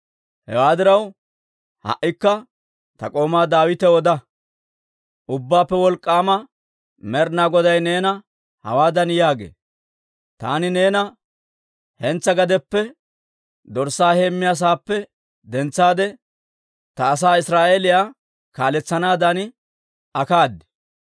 «Hewaa diraw, ha"ikka ta k'oomaa Daawitaw oda; ‹Ubbaappe Wolk'k'aama Med'inaa Goday neena hawaadan yaagee; «Taani neena hentsaa gadeppe, dorssaa heemmiyaa saappe dentsaade, ta asaa Israa'eeliyaa kaaletsanaadan akkaad.